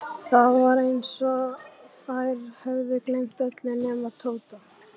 Það var eins og þær hefðu gleymt öllu nema Tóta.